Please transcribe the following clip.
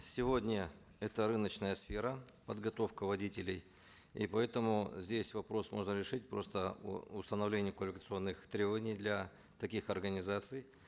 сегодня это рыночная сфера подготовка водителей и поэтому здесь вопрос можно решить просто установлением квалификационных требований для таких организаций